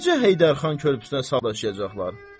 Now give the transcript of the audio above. Necə Heydərxan körpüsünə saldıracaqlar?